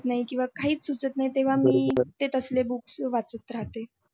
नाही किंवा काही सुचत नाही तेव्हा मी ते तसली books वाचत राहत